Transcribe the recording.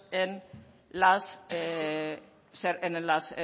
en los